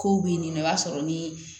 Kow be yen nɔ i b'a sɔrɔ ni